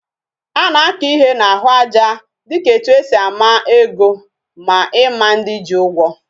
Ana aka ihe na ahu aja dika etu esi ama ego, ma Ima ndi ji Ugwo